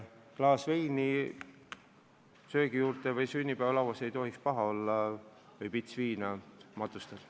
Klaas veini söögi juurde või sünnipäevalauas ei tohiks paha olla või pits viina matustel.